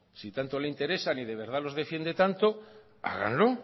si tanto le interesa y de verdad los defiende tanto háganlo